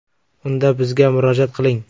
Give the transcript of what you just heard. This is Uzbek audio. Unda bizga murojaat qiling.